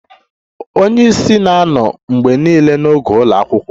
Onye isi na-anọ mgbe niile n'oge ụlọ akwụkwọ